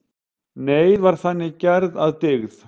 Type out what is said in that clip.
Neyð var þannig gerð að dygð.